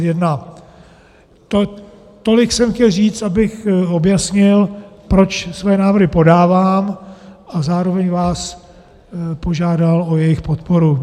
Tolik jsem chtěl říct, abych objasnil, proč své návrhy podávám, a zároveň vás požádal o jejich podporu.